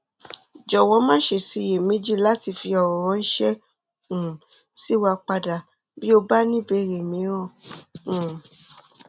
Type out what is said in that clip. jọwọ maṣe ṣiyemeji lati fi ọrọ ránṣẹ um sí wa padà bí o bá ní ìbéèrè míràn um